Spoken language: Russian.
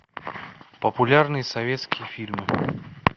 популярные советские фильмы